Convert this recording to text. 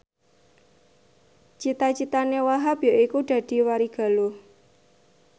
cita citane Wahhab yaiku dadi warigaluh